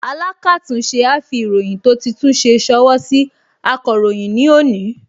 Alákàtúnṣe á fi ìròyìn tó ti tún ṣe ṣọwọ́ sí akọ̀ròyìn ní òní